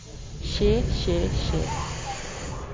skje skje skje